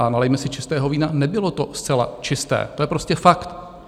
A nalijme si čistého vína, nebylo to zcela čisté, to je prostě fakt.